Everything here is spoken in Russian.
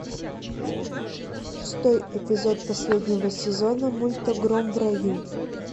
шестой эпизод последнего сезона мульта гром в раю